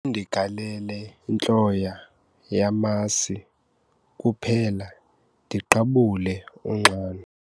Khawundigalele intloya yamasi kuphela ndiqabule unxano.